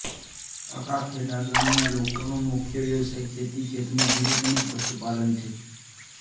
અકાખેડા ગામના લોકોનો મુખ્ય વ્યવસાય ખેતી ખેતમજૂરી તેમ જ પશુપાલન છે